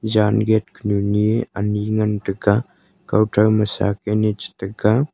jan gate khunu ni ani ngan taiga kahson ma shak chi te ga.